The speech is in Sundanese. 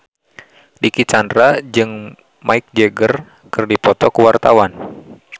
Dicky Chandra jeung Mick Jagger keur dipoto ku wartawan